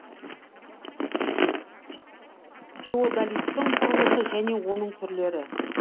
теодолиттің құрылысы және оның түрлері